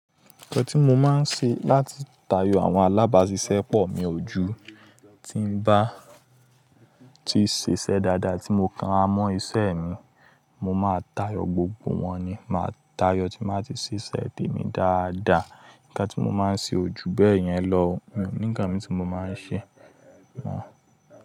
Nǹkan tí mo máa ń ṣe láti tayọ àwọn alábàáṣiṣẹ́ pọ̀ mi ojú, tí ń bá ti ṣiṣẹ́ dáadáa tí mo kan ra mọ́ iṣẹ́ mi, mo máa tayọ gbogbo wọn ni. Máa tayọ tí mo bá ti ṣiṣẹ́ tèmi dáadáa. Nǹkan tí mo máa ń ṣe ojú bẹ́ẹ̀ yẹn ló hun o níkan mì tí mo máa ń ṣe mọ.